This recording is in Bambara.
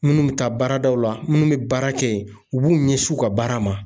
Munnu bi taa baaradaw la munnu be baara kɛ yen u b'u ɲɛsi u ka baara ma